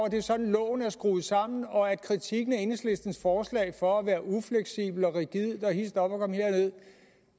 at det er sådan loven er skruet sammen og at kritikken af enhedslistens forslag for at være ufleksibelt og rigidt og hist op og kom herned